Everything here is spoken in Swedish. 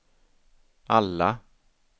alla